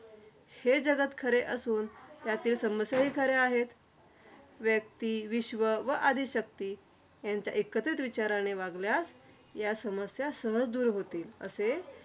ते जगात खरे असून, ह्यातील समस्याहि खरे आहेत. व्यक्ती, विश्व व आदिशक्ती यांच्या एकत्रित विचाराने वागल्यास, या समस्या सहज दूर होतील. असे